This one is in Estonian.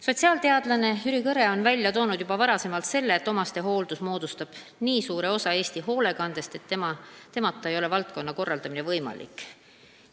Sotsiaalteadlane Jüri Kõre on juba varem välja toonud, et omastehooldus moodustab nii suure osa Eesti hoolekandest, et selleta ei ole valdkonna korraldamine võimalik.